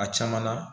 A caman na